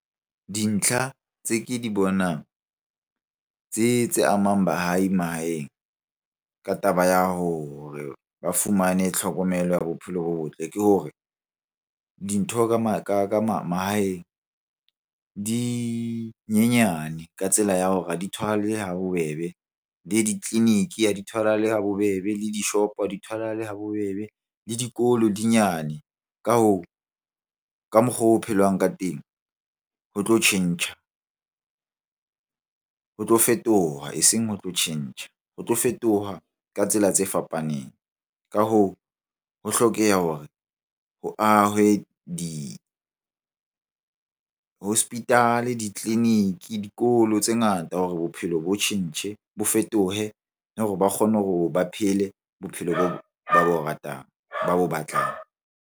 Dintlha tse ke di bonang tse amang baahi mahaheng ka taba ya hore ba fumane tlhokomelo ya bophelo bo botle. Ke hore dintho ka mahaeng di nyenyane ka tsela ya hore ha di tholahale ha bobebe le ditleliniki ha di tholahale ha bobebe, le dishopo ha di tholahale ha bobebe, le dikolo di nyane. Ka hoo, ka mokgwa o ho phelwang ka teng ho tlo tjhentjha. Ho tlo fetoha, eseng ho tlo tjhentjha. Ho tlo fetoha ka tsela tse fapaneng. Ka hoo, ho hlokeha hore ho ahwe di-hospital-e, ditleliniki, dikolo tse ngata hore bophelo bo tjhentjhe, bo fetohe le hore ba kgone hore ba phele bophelo ba bo ratang, ba bo batlang.